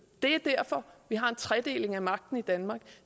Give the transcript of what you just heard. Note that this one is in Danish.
det er derfor vi har en tredeling af magten i danmark